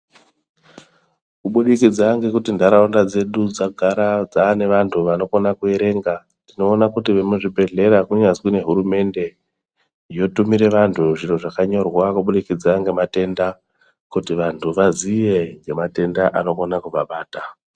Kubudikidza ngekuti ntaraunda dzedu dzagara dzaa nevantu vanokona kuerenga, tinoona kuti vemuzvibhedhlera kunyazwi nehurumende yotumire vantu zviro zvakanyorwa kubudikidza ngematenda, kuti vantu vazive ngematenda anokona kuvabata.